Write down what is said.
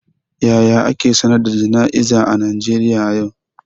Yaya ake sanar da jana'izar a Najeriya a yau?